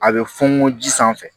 A bɛ funu ji sanfɛ